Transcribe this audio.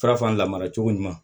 Faraf'an lamara cogo ɲuman